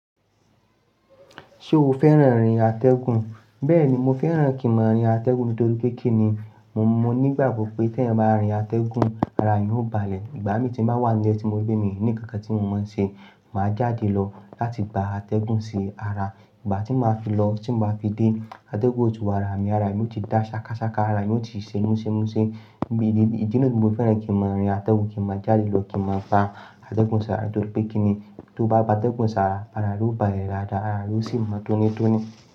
Ṣé o fẹ́ràn rin atẹ́gùn? Bẹ́ẹ̀ni, mo fẹ́ràn kí n máa rin atẹ́gùn nítorí pé kí ni mo mọ̀ nígbàgbọ́ pé tí èèyàn bá rin atẹ́gùn, ara yín ó balẹ̀. Ìgbà mi tí ń bá wà nílẹ̀ tí mo rí pé mi ní kankan tí mo máa ń ṣe, màá jáde lọ láti gba atẹ́gùn sí ara. Ìgbà tí màá fi lọ, tí màá fi dé, atẹ́gùn ò tí wa ara mi, ara mi yóò ti dá ṣakaṣaka ara mi, yóò ti ṣe múṣẹ́múṣẹ́. Bí ìdí, ìdí náà ni mo fẹ́ràn kí n máa rin atẹ́gùn, kí n máa jáde lọ, kí n máa gba atẹ́gùn sí ara nítorí pé kí ni tó bá gba atẹ́gùn sí ara, ara yóò balẹ̀ dáadáa, ara yóò sì mọ tónítóní.